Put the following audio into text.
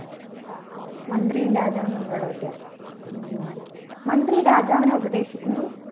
മന്ത്രിയും രാജാവും തമ്മിലുള്ള വ്യത്യാസം ഉം മന്ത്രി രാജാവിനെ ഉപദേശിക്കുന്നു